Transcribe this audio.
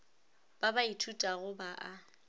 ba ba ithutago ba a